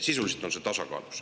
Sisuliselt on siin tasakaal.